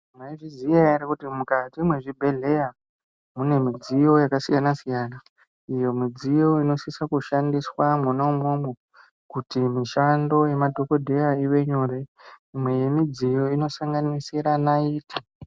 Mwaizviziya here kuti mukati mwezvibhedhlera mune midziyo yakasiyana- siyana, iyo midziyo inosisa kushandiswa mwona umwomwo kuti mishando yemadhogodheya ive nyore. Imwe yemidziyo inosanganisire naiti.